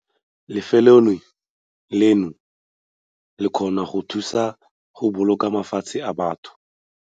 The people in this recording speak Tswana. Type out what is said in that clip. Lefelo leno le kgona go thusa go boloka matshelo a batho!